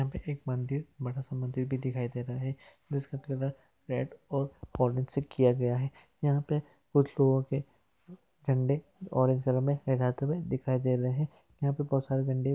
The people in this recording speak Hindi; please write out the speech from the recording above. यहाँ पे एक मंदिर बड़ा -सा मंदिर भी दिखाई दे रहा है जिसका कलर रेड और ऑरेंज से किया गया है यहाँ पे कुछ लोगों के झंडे ऑरेंज कलर में लहराते हुए दिखाई दे रहे है यहाँ पे बोहोत सारे झंडे --